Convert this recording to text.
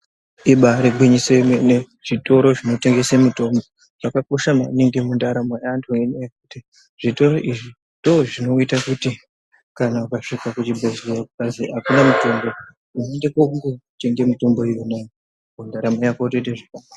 Ibari gwinyiso yemene, zvitoro zvinotengesa mitombo, zvakakosha maningi mundaramo yeantu. Zvitoro izvi ndozvinoita kuti kana ukasvika kuzvibhedhleya kukazi akuna mutombo. Unoenda kotenga mitombo iyona ndaramo yako yotoita zvirinani.